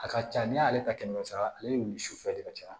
A ka ca n'i y'ale ta kɛmɛ sara ale nili sufɛ de ka ca